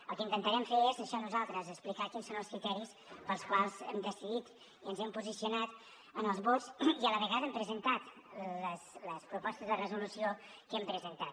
el que intentarem fer és això nosaltres explicar quins són els criteris pels quals hem decidit i ens hem posicionat en els vots i a la vegada hem presentat les propostes de resolució que hem presentat